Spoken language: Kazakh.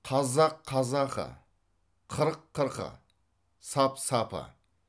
қазақ қазақы қырық қырқы сап сапы